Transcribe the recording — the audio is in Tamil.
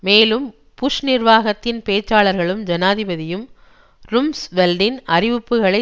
மேலும் புஷ் நிர்வாகத்தின் பேச்சாளர்களும் ஜனாதிபதியும் ரும்ஸ்வெல்டின் அறிவிப்புகளை